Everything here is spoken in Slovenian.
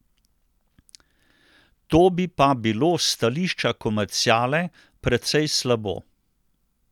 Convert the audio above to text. To bi pa bilo s stališča komerciale precej slabo.